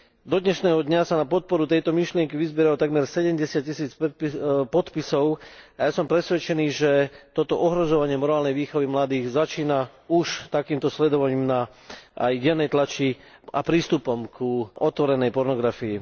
Do dnešného dňa sa na podporu tejto myšlienky vyzbieralo takmer 70000 podpisov a ja som presvedčený, že toto ohrozovanie morálnej výchovy mladých začína už takýmto sledovaním aj v dennej tlači a prístupom k otvorenej pornografii.